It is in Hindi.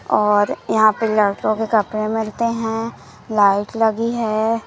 और यहां पे लड़कों के कपड़े मिलते हैं लाइट लगी है।